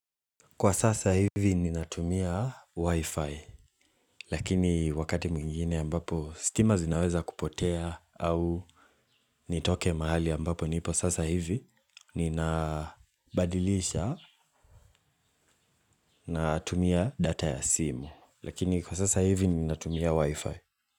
Kwa sasa hivi ninatumia Wi-Fi lakini wakati mwingine ambapo stima inaweza kupotea au nitoke mahali ambapo nipo sasa hivi ninabadilisha na tumia data ya simu lakini kwa sasa hivi ninatumia Wi-Fi.